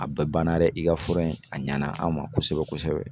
A bɛɛ banna nɛ i ka fura in a ɲana an ma kosɛbɛ kosɛbɛ